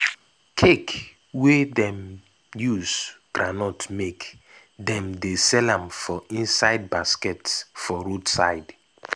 cake wey dem use groundnut make dem dey sell am for inside baskets for road side.